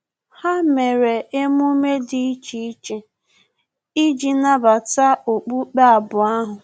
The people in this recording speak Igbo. Ha mere emume dị iche iche iji nabata okpukpe abụọ ahu